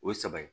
O ye saba ye